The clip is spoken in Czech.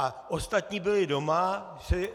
A ostatní byli doma.